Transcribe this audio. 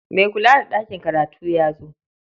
Mai kula da ɗakin karatu ya zo.